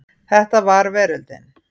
Þetta var veröldin.